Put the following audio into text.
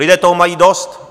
Lidé toho mají dost.